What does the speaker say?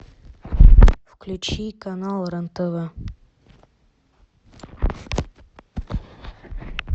включи канал рен тв